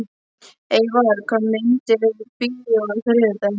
Eyvar, hvaða myndir eru í bíó á þriðjudaginn?